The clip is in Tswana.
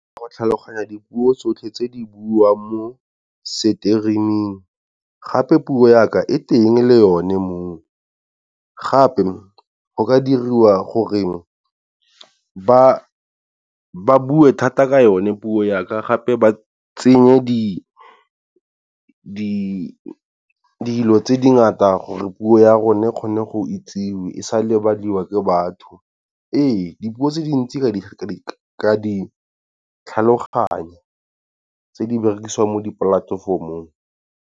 Ka go tlhaloganya dipuo tsotlhe tse di buiwang mo streaming gape puo yaka e teng le yone moo, gape go ka diriwa gore ba ba bue thata ka yone puo yaka gape ba tsenye di dilo tse ngata gore puo ya rona kgone go itsiwe e sa lebadiwa ke batho. Ee dipuo tse dintsi ka di tlhaloganya tse di berekisiwang mo dipolatefomong.